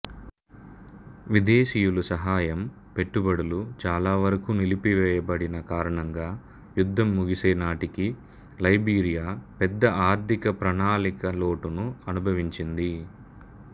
విదేశీయుల సహాయం పెట్టుబడులు చాలా వరకు నిలిపివేయబడిన కారణంగా యుద్ధం ముగిసేనాటికి లైబీరియా పెద్ద ఆర్ధికప్రణాళికా లోటును అనుభవించింది